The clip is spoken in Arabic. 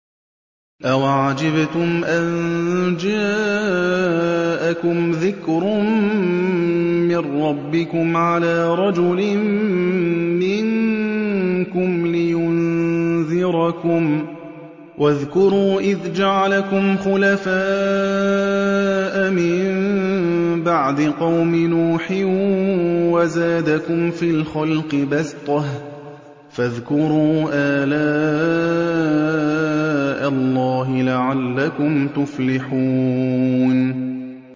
أَوَعَجِبْتُمْ أَن جَاءَكُمْ ذِكْرٌ مِّن رَّبِّكُمْ عَلَىٰ رَجُلٍ مِّنكُمْ لِيُنذِرَكُمْ ۚ وَاذْكُرُوا إِذْ جَعَلَكُمْ خُلَفَاءَ مِن بَعْدِ قَوْمِ نُوحٍ وَزَادَكُمْ فِي الْخَلْقِ بَسْطَةً ۖ فَاذْكُرُوا آلَاءَ اللَّهِ لَعَلَّكُمْ تُفْلِحُونَ